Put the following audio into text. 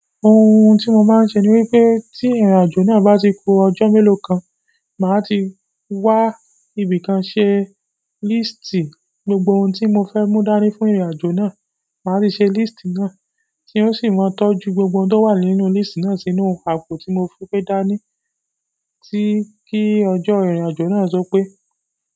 Ohun tí mo máa ń ṣe ni wípé tí ìrìnàjò náà bá ti ku ọjọ́ mélòó kan, màá ti wá ibìkan ṣe líísítì gbogbo ohun tí mo fẹ́ mú dání fún ìrìnàjò náà. Màá ti ṣe líísítì náà tí n ó sì máa tọ́jú gbogbo ohun tó wà nínú líísítì náà sínú àpò tí mo fe gbẹ́ dání tí kí ọjọ́ ìrìnàjò náà topé.